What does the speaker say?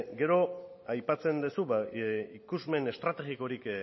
gero aipatzen duzu ikusmen estrategikorik